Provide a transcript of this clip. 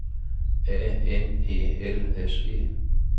A N E L S E